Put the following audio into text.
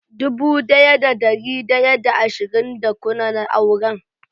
dubu daya da dari daya da ashirin da kuna na auren.